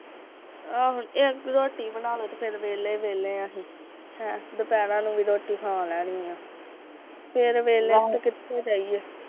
ਆਹੋ ਇੱਕ ਰੋਟੀ ਬਣਾਲੋ ਤੇ ਫਿਰ ਵੇਲੇ ਈ ਵੇਲ਼ੇ ਆ ਅਸੀ ਆ, ਹਾਂ ਦੁਪੈਰਾ ਨੂੰ ਵੀ ਖਾ ਲੈਨੀ ਆ ਤੇ ਫਿਰ ਵੇਹਲੇ ਤੇ ਕਿੱਥੇ ਜਾਈਏ